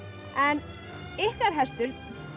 en ykkar hestur